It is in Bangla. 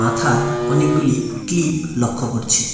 মাথায় অনেকগুলি ক্লিপ লক্ষ করছি।